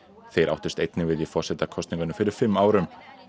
þeir áttust einnig við í forsetakosningunum fyrir fimm árum